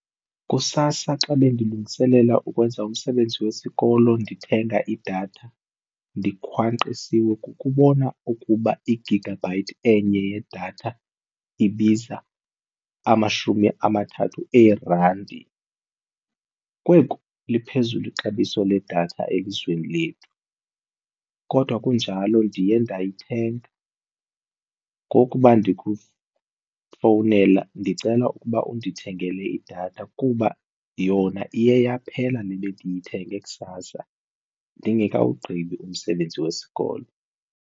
Kusasa xa bendilungiselela ukwenza umsebenzi wesikolo ndithenga idatha ndikhwanqisiwe kukubona ukuba i-gigabyte enye yedatha ibiza amashumi amathathu eerandi. Kweekhu liphezulu ixabiso ledatha elizweni lethu, kodwa kunjalo ndiye ndayithenga ngokuba ndikufowunela ndicela ukuba undithengele idatha kuba yona iye yaphela le bendiyithenge kusasa ndingekawugqibi umsebenzi wesikolo.